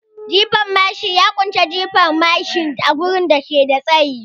Jifan mashi ya kunshi jefa mashi a wurin da ke da tsayi